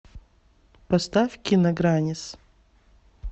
поставь кина граннис